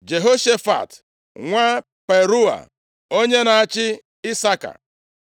Jehoshafat nwa Parua onye na-achị Isaka.